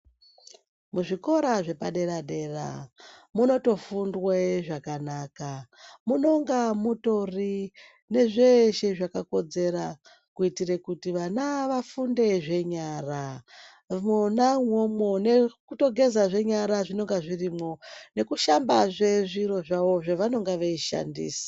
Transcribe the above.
Muzvikora zvepadera dera munotofundwe zvakanaka munonga mutori nezveshe zvakakodzera kuitira kuti vana vafunde zvenyara mwona umwomwo nekutogezazve nyara zvinonga zvirimwo nekushambazve zviro zvavo zvavanenge vachishandisa.